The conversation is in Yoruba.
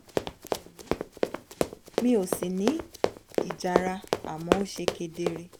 kò dùn mí mi ò sì ní ìjara àmọ́ ó ṣe kedere